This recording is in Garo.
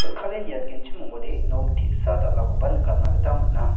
niatgenchim ong·ode nok te·sa dal·akoba nikatna gita man·a.